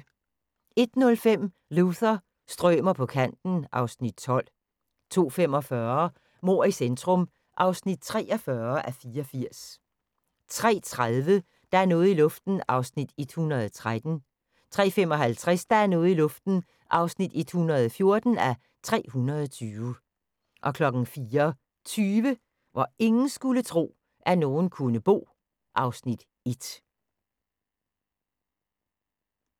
01:05: Luther – strømer på kanten (Afs. 12) 02:45: Mord i centrum (43:84) 03:30: Der er noget i luften (113:320) 03:55: Der er noget i luften (114:320) 04:20: Hvor ingen skulle tro, at nogen kunne bo (Afs. 1)